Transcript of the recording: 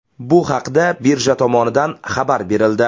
Bu haqda birja tomonidan xabar berildi .